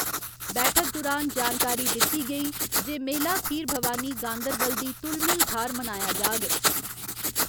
बैठक दुरान जानकारी दित्ती गेई जे मेला खीर भवानी गांदरबल दी तुलमुल थाह्‌र मनाया जाग।